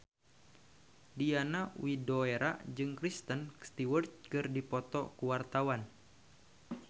Diana Widoera jeung Kristen Stewart keur dipoto ku wartawan